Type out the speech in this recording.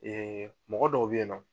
mɔgɔ dɔw bɛ ye nɔ